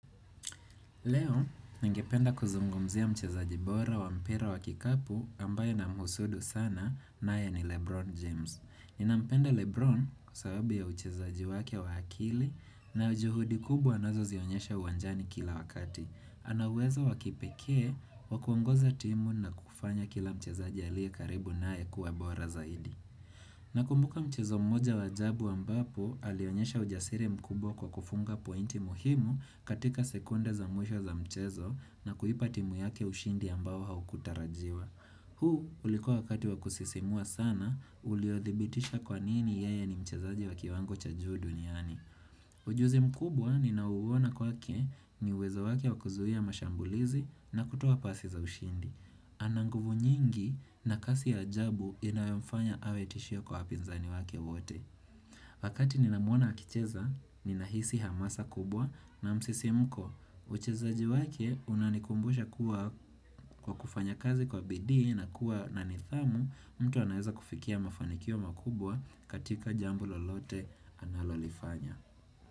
Leo, ningependa kuzungumzia mchezaji bora wa mpira wa kikapu ambaye namhusudu sana naye ni Lebron James. Ninampenda Lebron kwa sababu ya uchezaji wake wa akili na ujuhudi kubwa anazozionyesha uwanjani kila wakati. Anauwezo wakipekee, wakuongoza timu na kufanya kila mchezaji alie karibu naye kuwa bora zaidi. Na kumbuka mchezo mmoja waajabu ambapo alionyesha ujasiri mkubwa kwa kufunga pointi muhimu katika sekunde za mwisho za mchezo na kuipa timu yake ushindi ambao haukutarajiwa. Huu ulikuwa wakati wakusisimua sana uliodhibitisha kwa nini yeye ni mchezaji wa kiwango cha juu duniani. Ujuzi mkubwa ni nao uona kwake ni uwezo wake wakuzuia mashambulizi na kutoa pasi za ushindi. Ananguvu nyingi na kasi ya ajabu inayomfanya awe tishio kwa wapinzani wake wote Wakati ninamwona akicheza, ninahisi hamasa kubwa na msisimko Uchezaji wake unanikumbusha kuwa kwa kufanya kazi kwa bidii na kuwa na nidhamu mtu anaweza kufikia mafanikio makubwa katika jambo lolote analolifanya.